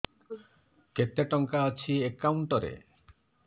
କେତେ ଟଙ୍କା ଅଛି ଏକାଉଣ୍ଟ୍ ରେ